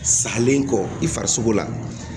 Salen kɔ i farisogo la